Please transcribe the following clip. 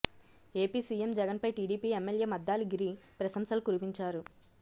AP CM జగన్పై TDP MLA Maddali Giri ప్రసంశలు కురిపించారు